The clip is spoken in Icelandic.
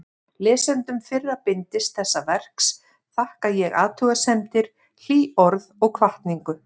Lesendum fyrra bindis þessa verks þakka ég athugasemdir, hlý orð og hvatningu.